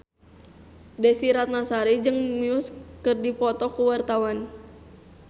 Desy Ratnasari jeung Muse keur dipoto ku wartawan